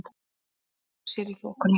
Veltir sér í þokunni.